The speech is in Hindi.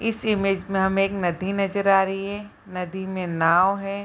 इस इमेज में हमें एक नदी नजर आ रही है नदी में नाव है।